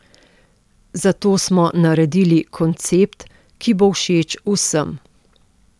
Zato smo naredili koncept, ki bo všeč vsem.